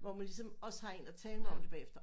hvor man lige som også har en at tale med om det bagefter